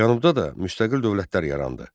Cənubda da müstəqil dövlətlər yarandı.